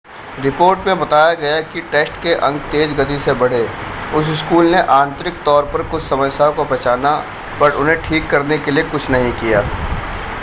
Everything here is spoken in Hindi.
रिपोर्ट में बताया गया कि टेस्ट के अंक तेज़ गति से बढ़े उस स्कूल ने आंतरिक तौर पर कुछ समस्याओं को पहचाना पर उन्हें ठीक करने के लिए कुछ नहीं किया